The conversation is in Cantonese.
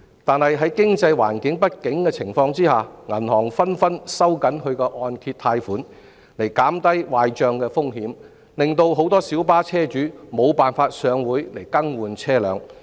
但在經濟不景的情況下，銀行紛紛收緊按揭貸款以減低壞帳風險，令很多小巴車主無法上會更換車輛。